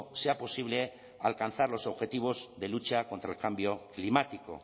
sea posible alcanzar los objetivos de lucha contra el cambio climático